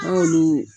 N'olu